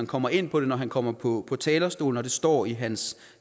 kommer ind på det når han kommer på talerstolen når det står i hans